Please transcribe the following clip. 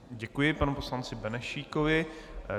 Děkuji panu poslanci Benešíkovi.